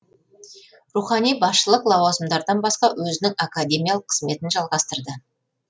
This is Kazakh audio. рухани басшылық лауазымдардан басқа өзінің академиялық қызметін жалғастырды